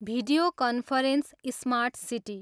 Video conference, smart city.